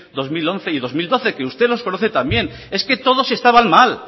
dos mil once y dos mil doce que usted los conoce también es que todos estaban mal